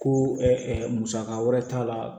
Ko musaka wɛrɛ t'a la